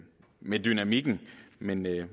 med dynamikken men et